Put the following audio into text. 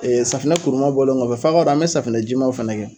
Ee safinɛ kuruman bɔlen kɔfɛ f'a k'a dɔn an be safinɛ jimanw fɛnɛ kɛ